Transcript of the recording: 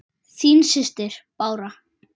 Þín systir, Bára.